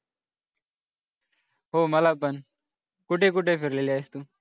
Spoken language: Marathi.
हो मला पण कुठे कुठे फिरलेली आहेस तू?